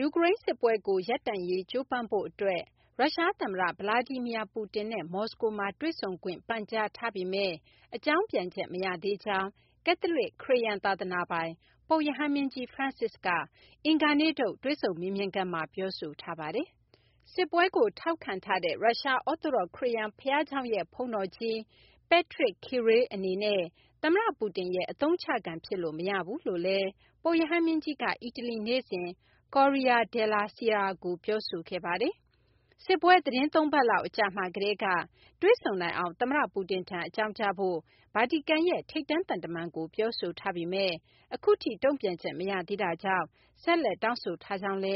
ူကရိန်း စစ်ပွဲကို ရပ်တန့်ရေး ကြိုးပမ်းဖို့ အတွက် ရုရှား သမ္မတ Vladimir Putin နဲ့ မော်စကိုမှာ တွေ့ဆုံခွင့် ပန်ကြားထားပေမယ့် အကြောင်းပြန်ချက် မရသေးကြောင်း ကက်သလစ် ခရစ်ယာန် သာသနာပိုင် ပုပ်ရဟန်းမင်းကြီး Francis က အင်္ဂါနေ့ထုတ် တွေ့ဆုံမေးမြန်းခန်းမှာ ပြောဆိုထားပါတယ်။ စစ်ပွဲကို ထောက်ခံထားတဲ့ ရုရှား အော့သိုဒေါ့ ခရစ်ယာန် ဘုရားကျောင်းရဲ့ ဘုန်းတော်ကြီး Patriarch Kirill အနေနဲ့ သမ္မတ ပူတင်ရဲ့ အသုံးချခံဖြစ်လို့ မရဘူးလို့လည်း ပုပ်ရဟန်းမင်းကြီးက အီတလီ နေ့စဉ် Corriere Della Sera ကို ပြောဆိုခဲ့ပါတယ်။ စစ်ပွဲ သီတင်း ၃ ပတ်လောက် အကြာမှာကတည်းက တွေ့ဆုံနိုင်အောင် သမ္မတ Putin ထံ အကြောင်းကြားဖို့ ဗာတီကန်ရဲ့ ထိပ်တန်းသံတမန်ကို ပြောဆိုထားပေမဲ့ အခုအထိ တုံ့ပြန်ချက်မရသေးတာကြောင့် ဆက်လက် တောင်းဆိုထားကြောင်းလ